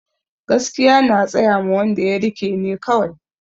Gaskiya na tsayama wanda ya rike ne kawai